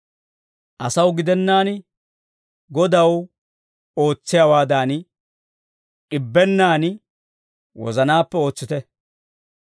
Asaw gidennaan Godaw ootsiyaawaadan, d'ibennaan wozanaappe ootsite.